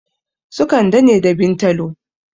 Su kande ne da bintalo